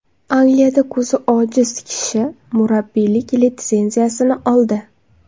Angliyada ko‘zi ojiz kishi murabbiylik litsenziyasini oldi.